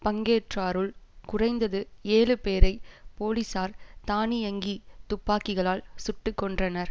பங்கேற்றாருள் குறைந்தது ஏழு பேரை போலீசார் தானியங்கித் துப்பாக்கிகளால் சுட்டு கொன்றனர்